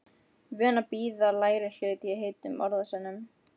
Vön að bíða lægri hlut í heitum orðasennum.